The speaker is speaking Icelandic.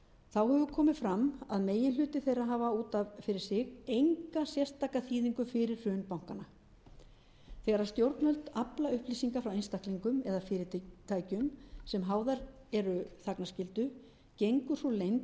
þá hefur komið fram að meginhluti þeirra hefur út af fyrir sig enga sérstaka þýðingu fyrir hrun bankanna þegar stjórnvöld afla upplýsinga frá einstaklingum eða fyrirtækjum sem háðar eru þagnarskyldu gengur sú leynd